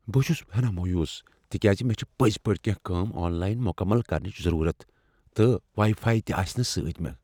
بہٕ چھس ہناہ مایوس تکیاز مےٚ چھ پٔزۍ پٲٹھۍ کیٚنہہ کٲم آن لائن مکمل کرنک ضرورت، تہٕ واٮیی فایی تہِ آسنہٕ سۭتۍ مےٚ ۔